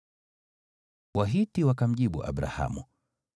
Wahiti wakamjibu Abrahamu,